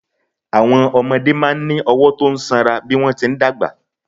Àwọn ọmọdé máa ń ní ọwọ́ tó sanra bí wọ́n ti ń dàgbà.